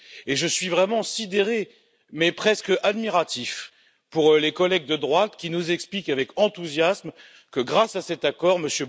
Et je suis vraiment sidéré, mais presque admiratif, devant les collègues de droite qui nous expliquent avec enthousiasme que, grâce à cet accord, M.